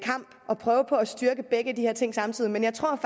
prøve på at styrke begge de her ting samtidig men jeg tror